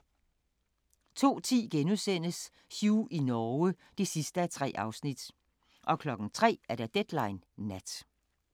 02:10: Hugh i Norge (3:3)* 03:00: Deadline Nat